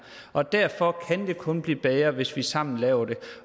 og derfor kan det kun blive bedre hvis vi sammen laver det